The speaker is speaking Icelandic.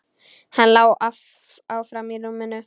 Hann lá áfram í rúminu.